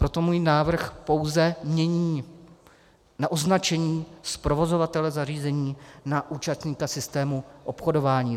Proto můj návrh pouze mění označení z "provozovatele zařízení" na "účastníka systému obchodování".